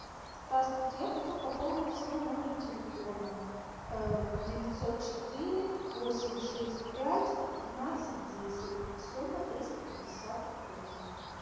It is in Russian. здравствуйте я хочу пополнить свой номер телефона девятьсот четыре восемь шесть пять пятнадцать десять сумма триста пятьдесят рублей